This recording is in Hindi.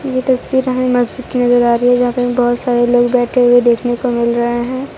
ये तस्वीर हमें मस्जिद की नजर आ रही है जहां पे बहुत सारे लोग बैठे हुए देखने को मिल रहे हैं।